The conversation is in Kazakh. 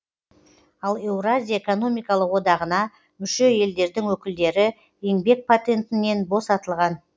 ал еуразия экономикалық одағына мүше елдердің өкілдері еңбек патентінен босатылған